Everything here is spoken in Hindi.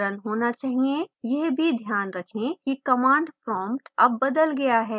यह भी ध्यान रखें कि command prompt अब बदल गया है